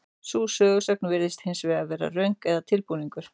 Sú sögusögn virðist hins vegar vera röng eða tilbúningur.